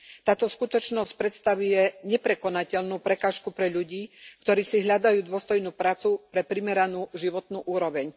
Táto skutočnosť predstavuje neprekonateľnú prekážku pre ľudí, ktorí si hľadajú dôstojnú prácu pre primeranú životnú úroveň.